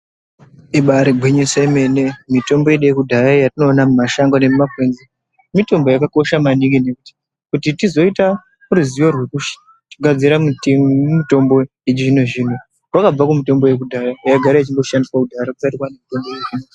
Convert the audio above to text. Ibaari gwinyiso yemene, mitombo yedu yekudhaya iyi yatinoona mumashango nemumakwenzi mitombo yakakosha maningi nekuti kuti tizoita ruzivo rwekugadzira mitombo yechizvino-zvino, rwakabva kumutombo yekudhaya yaigara ichingoshandiswa kudhara kusati kwaanemitombo yechizvino-zvino.